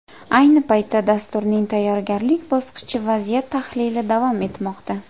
Ayni paytda dasturning tayyorgarlik bosqichi vaziyat tahlili davom etmoqda.